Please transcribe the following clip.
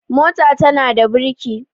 mota tana da birki